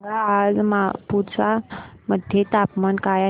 सांगा आज मापुसा मध्ये तापमान काय आहे